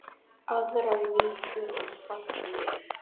Aðrar víkur og firðir